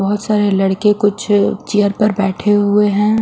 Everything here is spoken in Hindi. बहोत सारे लड़के कुछ चेयर पर बैठे हुए हैं।